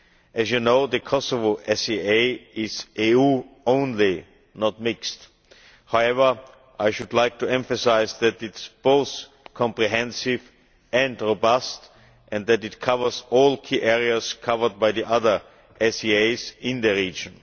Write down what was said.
As you know, the Kosovo SAA is EU only, not mixed. However, I should like to emphasise that it is both comprehensive and robust and that it covers all key areas covered by the other SAAs in the region.